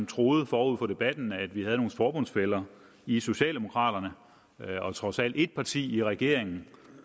troede forud for debatten at vi havde nogle forbundsfæller i socialdemokraterne trods alt et parti i regeringen